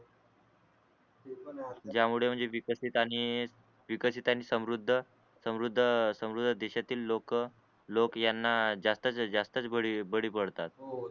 ज्या मुळे म्हणजे विकसित आणि समृद्ध समृद्ध समृद्ध देशातील लोक लोक याना ज्यास्तच ज्यास्तच बळी बळी पडतात